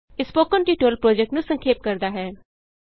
ਇਹ spoken tutorial project ਨੂੰ ਸੰਖੇਪ ਕਰਦਾ ਹੈ